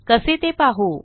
कसे ते पाहू